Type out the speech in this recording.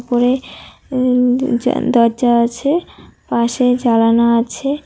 জ দরজা আছে পাশে জলানা আছে।